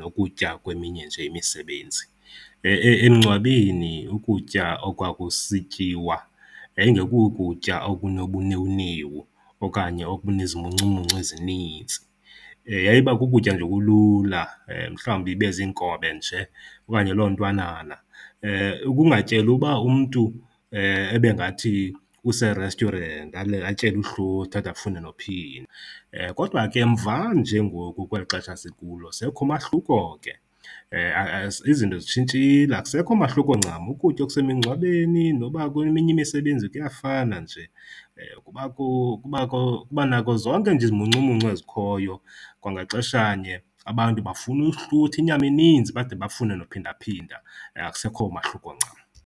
nokutya kweminye nje imisebenzi. Emngcwabeni ukutya okwakusityiwa yayingekokutya okunobunewunewu okanye okunezimuncumuncu ezinintsi, yayiba kukutya nje okulula mhlawumbi ibe ziinkobe nje okanye loo ntwanana. Kungatyelwa uba umntu ebengathi use-restaurant, atyele uhlutha ade afune nophinda. Kodwa ke mvanje ngoku kweli xesha sikulo sekukho umahluko ke, izinto zitshintshile, akusekho mahluko ncam, ukutya okusemingcwabeni noba kweminye imisebenzi kuyafana nje. Kubakho, kuba nako zonke nje izimuncumuncu ezikhoyo, kwangaxeshanye abantu bafuna uhlutha inyama eninzi bade bafune nophindaphinda. Akusekho mahluko ncam.